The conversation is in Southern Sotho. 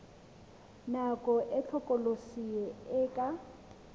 nako e hlokolosi e ka